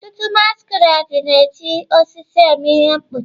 Ọtụtụ masquerade na-eji osisi eme ihe mkpuchi.